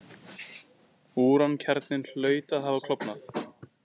Úrankjarninn hlaut að hafa klofnað.